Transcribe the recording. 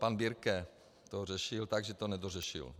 Pan Birke to řešil tak, že to nedořešil.